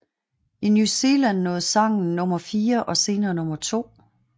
I New Zealand nåede sangen nummer fire og senere nummer to